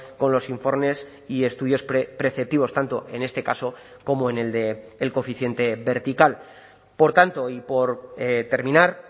con los informes y estudios preceptivos tanto en este caso como en el del coeficiente vertical por tanto y por terminar